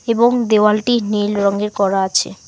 এবং দেওয়ালটি নীল রঙের করা আছে।